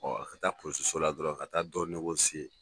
ka taa polisiso la dɔrɔn ka taa dɔ